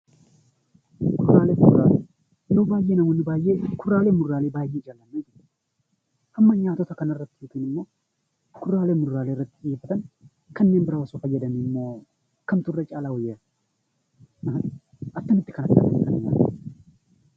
Kuduraalee fi muduraalee Yeroo baayyee namoonni kuduraalee fi muduraalee baayyee jaallatu. Hamma nyaata kana irratti fixan yookaan immoo kuduraalee fi muduraalee irratti fixan, kanneen biraa osoo fayyadamanii moo kam wayya? Akkamitti kana fayyadamuu?